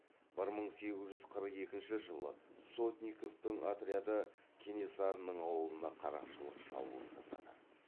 бір мың сегіз жүз қырық екінші жылы сотниковтың отряды кенесарының ауылына қарақшылық шабуыл жасады